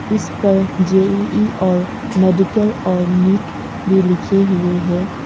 इस पर जे_इ_इ और मेडिकल और नीट भी लिखे हुए हैं।